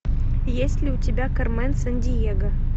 есть ли у тебя кармен сандиего